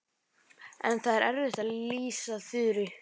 En það er erfitt að lýsa Þuru.